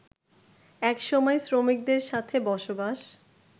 একসময় শ্রমিকদের সাথে বসবাস